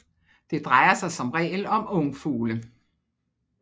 Det drejer sig som regel om ungfugle